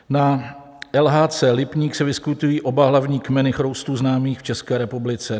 Na LHC Lipník se vyskytují oba hlavní kmeny chroustů známých v České republice.